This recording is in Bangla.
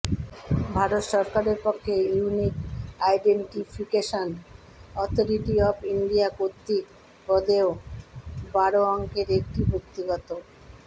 ভারত সরকারের পক্ষে unique identification authority of India র্কতৃক প্রদেয় বারো অঙ্কের একটি ব্যক্তিগত